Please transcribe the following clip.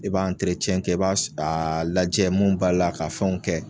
I b'a kɛ i b'a s aa lajɛ mun b'a la ka fɛnw kɛ